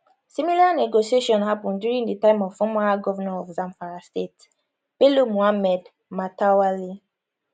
similar negotiation happun during di time of former governor of zamfara state bello muhammad matawalle